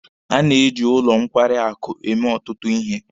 A na-eji ụlọ nkwarị akụ eme ọtụtụ ihe.